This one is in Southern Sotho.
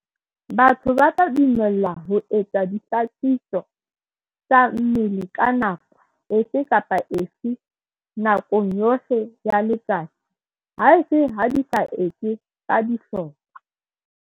Batho ba tla dumellwa ho etsa dihlakiso tsa mmele ka nako efe kapa efe nakong yohle ya letsatsi, haese ha di sa etswe ka dihlopha.